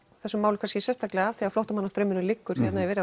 þessum málum kannski sérstaklega af því að flóttamannastraumurinn liggur hérna yfir